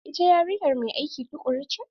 Ita yarinya mai aiki tukuru ce.